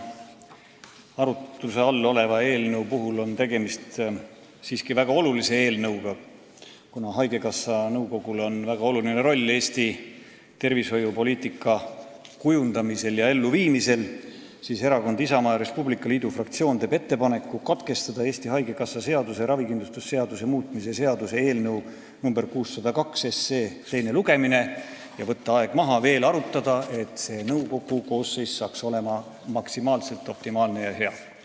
Kuna arutuse all oleva eelnõu puhul on tegemist väga olulise eelnõuga, sest haigekassa nõukogul on väga oluline roll Eesti tervishoiupoliitika kujundamisel ja elluviimisel, teeb Erakonna Isamaa ja Res Publica Liidu fraktsioon ettepaneku katkestada Eesti Haigekassa seaduse ja ravikindlustuse seaduse muutmise seaduse eelnõu 602 teine lugemine, võtta aeg maha ja veel arutada, et saaksime sellise nõukogu koosseisu, mis oleks optimaalne ja hea.